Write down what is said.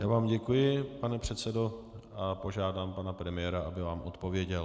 Já vám děkuji, pane předsedo, a požádám pana premiéra, aby vám odpověděl.